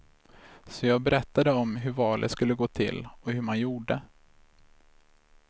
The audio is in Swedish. Så jag berättade om hur valet skulle gå till och hur man gjorde.